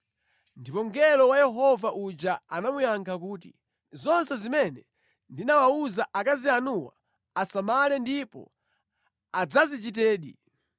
Ndipo mngelo wa Yehova uja anamuyankha kuti, “Zonse zimene ndinawawuza akazi anuwa asamale ndipo adzazichitedi.